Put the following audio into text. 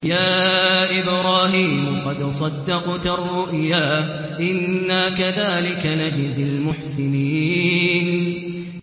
قَدْ صَدَّقْتَ الرُّؤْيَا ۚ إِنَّا كَذَٰلِكَ نَجْزِي الْمُحْسِنِينَ